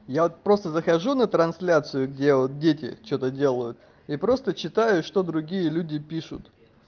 я вот просто захожу на трансляцию где дети что-то делают и просто читаю что другие люди пишут